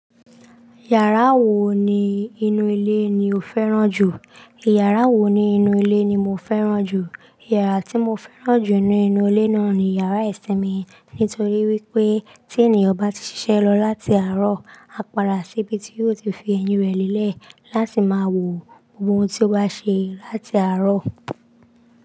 Yàrá wo ni inú ilé ni o fẹ́ràn jù? Yàrá wo ni inú ilé ni mo fẹ́ràn jù. Yàrá tí mo fẹ́ràn jù nínú inú ilé náà ni yàrá ìsiinmi. Nítorí wípé tí ènìyàn bá ti ṣiṣẹ́ lọ láti àárọ̀, á para síbi tí yóò ti fi eyín rẹ̀ lélẹ̀ láti máa wo gbogbo ohun tí ó bá ṣe láti àárọ̀